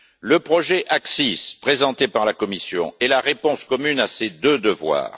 Le projet AXIS, présenté par la Commission, est la réponse commune à ces deux devoirs.